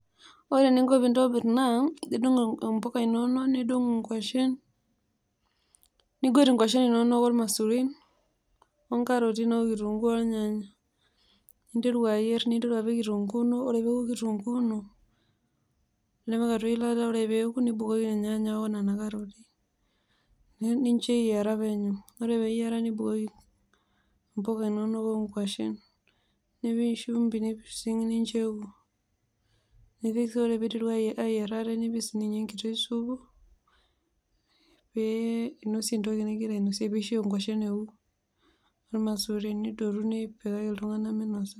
Ore eninko peintobir naa indung mbuka inonok nidung nkwashen nigwet kwashen inonok ormasurin onkaroti inonok, okitunguu ,ornyannya ninteru ayieu ninteru apik kitunguu ino ,ore peoku kitunguu ino nipik atua eilata nibukoki nona karoti ornyanya linonok, nemincho eyiara penyo ore nipik nkwashen nipik shumbi nipising nincho eoku, nipikbot peiteru ayier ate nipik sininye enkiti supu pee inosie entoki ningira ainosie peincho nkwashen eoku irmasuruni eoku nipikaki ltunganak meinosa